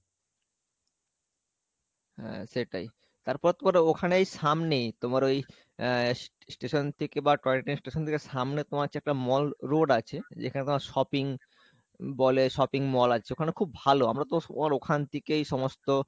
হ্যাঁ সেটাই, তারপর তোমার ওখানেই সামনে তোমার ওই আহ station থেকে বা, toy train station থেকে সামনে তোমার হচ্ছে mall road আছে যেখানে তোমার shopping বলে shopping mall আছে ওখানে খুব ভালো আমরা তো ওখান থেকেই সমস্ত